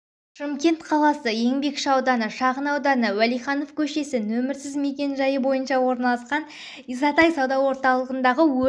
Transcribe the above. шымкент қаласы еңбекші ауданы шағын ауданы уәлиханов көшесі нөмірсіз мекен-жайы бойынша орналасқан исатай сауда орталығындағы өрт